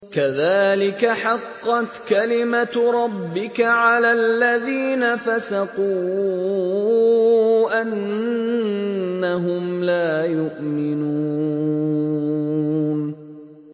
كَذَٰلِكَ حَقَّتْ كَلِمَتُ رَبِّكَ عَلَى الَّذِينَ فَسَقُوا أَنَّهُمْ لَا يُؤْمِنُونَ